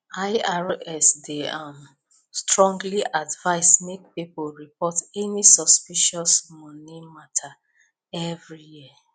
irs dey um strongly advise make people report any suspicious money matter every year